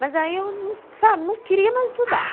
Mas aí eu, sabe, não queria mais estudar.